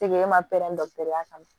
E ma pɛrɛn dɔgɔtɔrɔya kama